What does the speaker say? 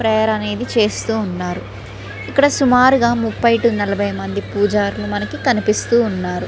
Prayer అనేది చేస్తూ ఉన్నారు. ఇక్కడ సుమారుగా ముపై టూ నలబై మంది పూజారులు మనకి కనిపిస్తూ ఉన్నారు.